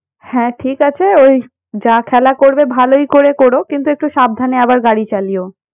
হ্যাঁ ঠিক আছে ওই যা খেলা করবে ভালই করে করো কিন্তু একটু সাবধানে আবার গাড়ি চালিয়ো।